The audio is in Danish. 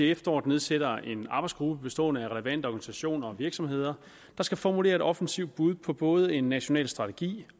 efteråret nedsætter en arbejdsgruppe bestående af relevante organisationer og virksomheder der skal formulere et offensivt bud på både en national strategi